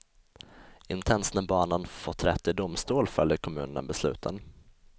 Inte ens när barnen fått rätt i domstol följer kommunerna besluten.